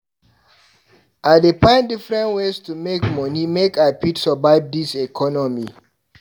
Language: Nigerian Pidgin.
I dey find different ways to make moni make I fit survive dis economy.